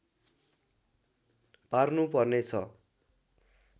पार्नुपर्ने छ